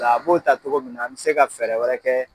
Ola a b'o ta togo min na a be se ka fɛɛrɛ wɛrɛ kɛ